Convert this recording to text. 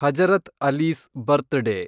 Hazrat Ali's ಬರ್ತ್‌ day